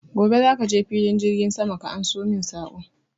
Gobe za ka filin jirgin sama ka anso min saƙo!